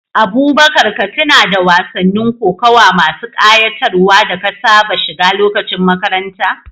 Abubakar, ka tuna da wasannin kokawa masu ƙayatarwa da ka saba shiga lokacin makaranta.